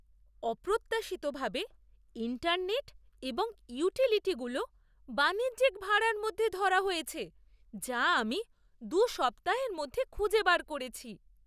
অপ্রত্যাশিতভাবে, ইন্টারনেট এবং ইউটিলিটিগুলো বাণিজ্যিক ভাড়ার মধ্যে ধরা হয়েছে যা আমি দু সপ্তাহের মধ‍্যে খুঁজে বার করেছি।